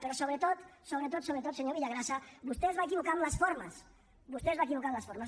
però sobretot sobretot sobretot senyor villagrasa vostè es va equivocar en les formes vostè es va equivocar en les formes